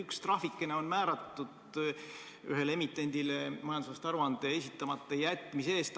Üks trahvikene on määratud ühele emitendile majandusaasta aruande esitamata jätmise eest.